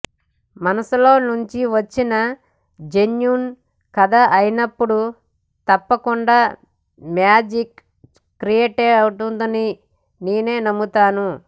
మనసులోంచి వచ్చి జెన్యూన్ కథ అయినపుడు తప్పకుండా మ్యాజిక్ క్రియేటవుతుందని నేను నమ్ముతాను